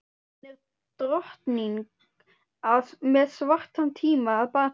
Hún er drottning með svartan tíma að baki.